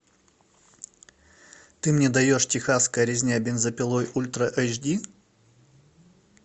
ты мне даешь техасская резня бензопилой ультра эйч ди